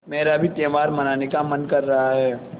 मेरा भी त्यौहार मनाने का मन कर रहा है